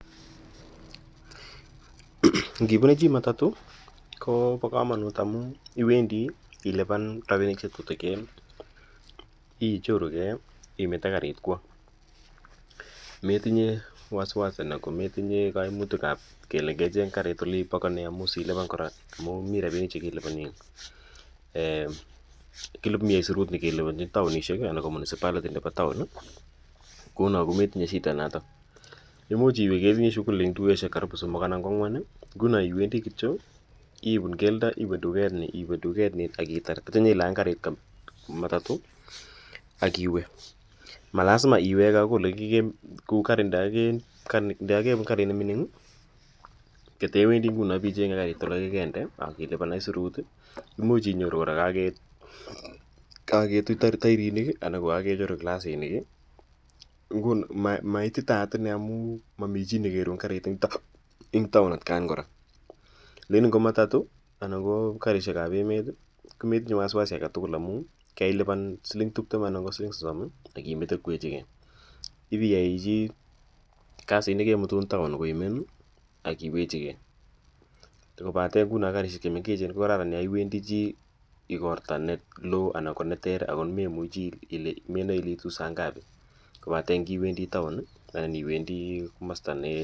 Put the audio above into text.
Ngipune chi matatu ko pa kamanut amu iwendi chi ilipan rapinik che tutikin, ichorugei, imete kariit kowa. Metinye wasiwasi anan ko metinye kaimutik ile ke cheng' karit ole ipakane amu siilipan kora, amu mi rapinik che kelipani. Mi aisurut ne kelipanchin taonishek anan ko municipality nepo taon kouno ko metinye shidanotok. Imuch iwe ketinye shughulishek eng' dukoshek karibu somok anan ko ang'wan. Nguno iwendi kityo ipun keldo , iwe duket ni, iwe no ak itar tetya nyi lany, kariit kei, matatu ak iwe. Ma lasima iwege akoi ole kemi, kou kari nda kakepun karit ne mining' katewendi nguni ip icheng'e karit ole kekende ak i lipan aisurut. Imuch kora inyoru kaketui tairinik i, anan ko kakechurur klasinik i. Nguni ma ititaat ine amu mami chi ne kerun kariit eng' taon atkan kora. Lakini ngo matatu anan ko karishek ap emet ko metinye wasiwasi age tugul amu kailipan siling' tiptem anan ko siling' sosom ak imete kowechigei ii yai chi kasit ne kemutun taon koimen ak iwechigei. Koate nguni karishek chu mengech ko kararan ya iwendi chi igorta ne loo, ako ne ter ne memuchi, menae ile iitu sangapi kopate ngiwendi taon anan iwendi komasta ne..